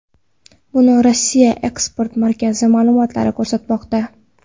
Buni Rossiya eksport markazi ma’lumotlari ko‘rsatmoqda .